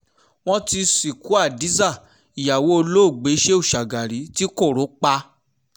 wọ́n ti sìnkú hadiza ìyàwó olóògbé shehu shagari ti koro pa